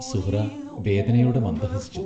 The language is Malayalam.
സുഹ്റാ വേദനയോടെ മന്ദഹസിച്ചു.